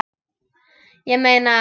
Ég meina.